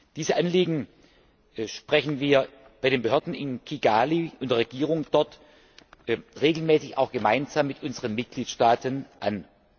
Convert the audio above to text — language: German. Diese Anliegen sprechen wir bei den Behörden in Kigali und der Regierung dort regelmäßig auch gemeinsam mit unseren Mitgliedstaaten an.